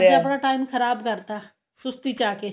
ਆਪਣਾ time ਖਰਾਬ ਕਰਤਾ ਸੁਸਤੀ ਚ ਆ ਕੇ